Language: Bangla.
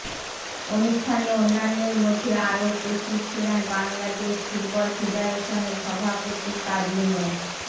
অনুষ্ঠানে অন্যান্যের মধ্যে আরো উপস্থিত ছিলেন বাংলাদেশ ফুটবল ফেডারেশনের সভাপতি কাজী মো